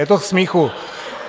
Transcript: Je to k smíchu.